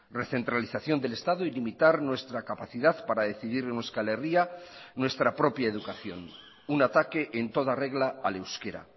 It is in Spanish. recentralización del estado y limitar nuestra capacidad para decidir en euskal herria nuestra propia educación un ataque en toda regla al euskera